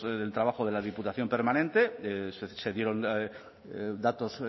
del trabajo de la diputación permanente se dieron datos